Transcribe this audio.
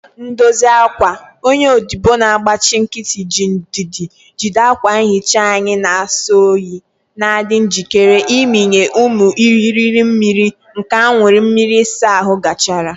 Ndosa akwa, onye odibo na-agbachi nkịtị, ji ndidi jide akwa nhicha anyị na-asọ oyi, na-adị njikere ịmịnye ụmụ irighiri mmiri nke aṅụrị mmiri ịsa ahụ gachara.